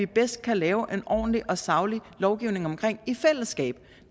bedst kan lave en ordentlig og saglig lovgivning omkring i fællesskab